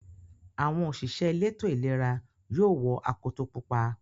Àwọn òṣìṣẹ́ elétò-ìlera yóò wọ akoto pupa.